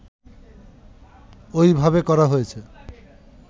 ওইভাবে করা হয়েছে